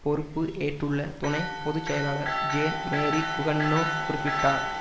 பொறுப்பு ஏற்றுள்ள துணை பொது செயலாளர் ஜேன் மேரி குகன்னோ குறிப்பிட்டார்